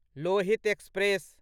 Lohit express